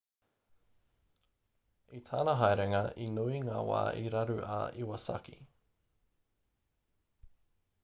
i tana haerenga he nui ngā wā i raru a iwasaki